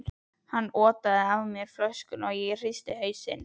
Hann otaði að mér flöskunni, en ég hristi hausinn.